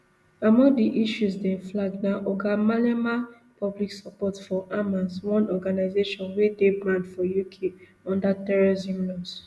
among di issues dem flag na oga malema public support for hamas one organization wey dey banned for uk under terrorism laws